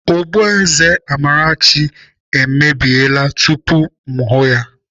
Ogboeze Amarachi e mebiela tupu ma ahụ ya